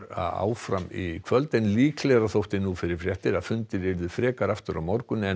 áfram í kvöld en líklegra þótti nú fyrir fréttir að fundir yrðu frekar aftur á morgun en